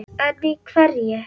En í hverju?